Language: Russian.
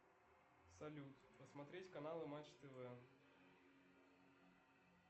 салют посмотреть каналы матч тв